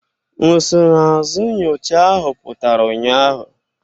Nsonaazụ nyocha ahụ pụtara ụnyaahụ